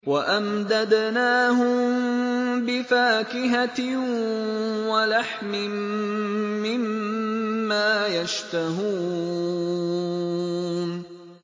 وَأَمْدَدْنَاهُم بِفَاكِهَةٍ وَلَحْمٍ مِّمَّا يَشْتَهُونَ